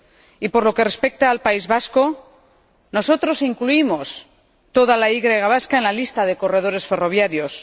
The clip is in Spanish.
Y, por lo que respecta al País Vasco, nosotros incluimos toda la Y vasca en la lista de corredores ferroviarios.